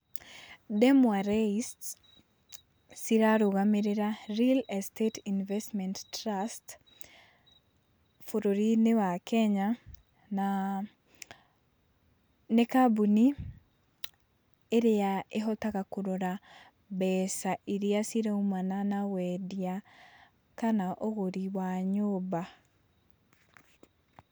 Ndemwa REISTS cirarũgamĩrĩra Real Estate Investment Trusts bũrũri-inĩ wa Kenya, na nĩ kambuni ĩrĩa ĩhotaga kũrora mbeca iria ciraumana na wendia kana ũgũri wa nyũmba.